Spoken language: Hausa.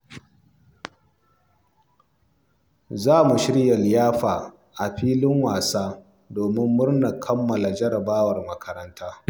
Za mu shirya liyafa a filin wasa domin murnar kammala jarabawar makaranta.